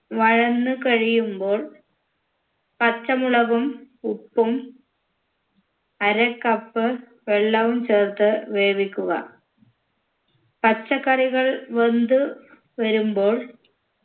വഴന്ന് കഴിയുമ്പോൾ പച്ചമുളകും ഉപ്പും അര cup വെള്ളവും ചേർത്ത് വേവിക്കുക പച്ചക്കറികൾ വെന്ത് വരുമ്പോൾ